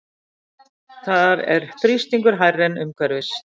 Þar er þrýstingur hærri en umhverfis.